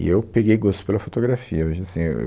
E eu peguei gosto pela fotografia. Hoje assim, é eu